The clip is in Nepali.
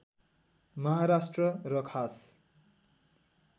महाराष्ट्र र खास